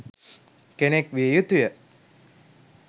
කෙනෙක් විය යුතුය